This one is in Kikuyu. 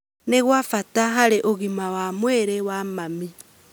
nĩ gwa bata harĩ ũgima wa mwĩrĩ wa mami.